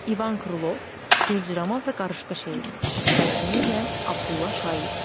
İvan Krılov, Cırcırama və Qarışqa şeiri, tərcümə eləyən Abdulla Şaiq.